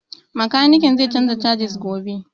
Makanikin zan canza casis gobe